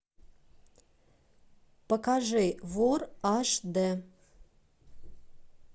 покажи вор аш д